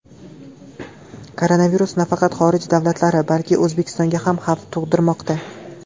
Koronavirus nafaqat xorij davlatlari, balki O‘zbekistonga ham xavf tug‘dirmoqda.